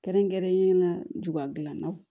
Kɛrɛnkɛrɛnnenya juba gilannaw